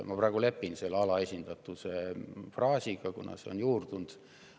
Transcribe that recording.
Ma praegu lepin selle alaesindatuse fraasiga, kuna see on juurdunud.